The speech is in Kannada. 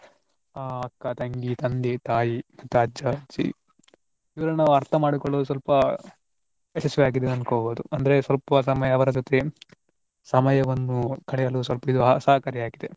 ಆ ಅಕ್ಕ, ತಂಗಿ, ತಂದೆ, ತಾಯಿ, ಮತ್ತೆ ಅಜ್ಜ, ಅಜ್ಜಿ ಇವರನ್ನು ನಾವು ಅರ್ಥ ಮಾಡಿಕೊಳ್ಳುವುದು ಸ್ವಲ್ಪ ಯಶಸ್ವಿಯಾಗಿದೆ ಅಂದ್ಕೊಬಹುದು ಅಂದ್ರೆ ಸ್ವಲ್ಪ ಸಮಯ ಅವರ ಜೊತೆ ಸಮಯವನ್ನು ಕಳೆಯಲು ಸ್ವಲ್ಪ ಇದು ಸಹಕಾರಿಯಾಗಿದೆ.